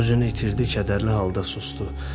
Özünü itirdi, kədərli halda susdu.